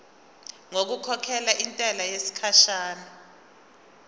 ngokukhokhela intela yesikhashana